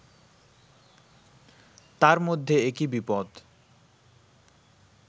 তার মধ্যে একি বিপদ